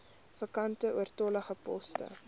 vakante oortollige poste